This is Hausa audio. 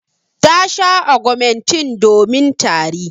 Ta sha augmentin domin tari.